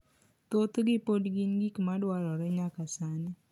thothgi pod gin gik ma dwarore nyaka sani.